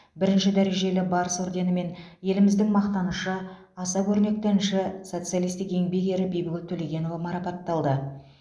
бірінші дәрежелі барыс орденімен еліміздің мақтанышы аса көрнекті әнші социалистік еңбек ері бибігүл төлегенова марапатталды